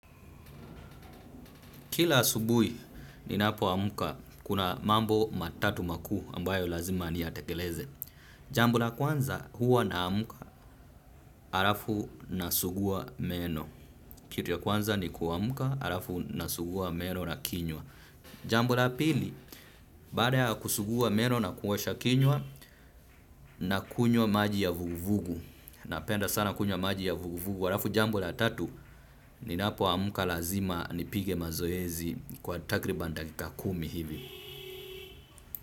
Kila asubuhi ninapoamka kuna mambo matatu makuu ambayo lazima niyatekeleze. Jambo la kwanza huwa naamka halafu nasugua meno. Kitu ya kwanza nikuamka halafu nasugua meno na kinywa. Jambo la pili, baada ya kusugua meno na kuosha kinywa nakunywa maji ya vuguvugu. Napenda sana kunywa maji ya vuguvugu. Halafu jambo la tatu, ninapoamka lazima nipige mazoezi kwa takriban dakika kumi hivi.